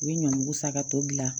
U bɛ ɲɔnguru san ka to dilan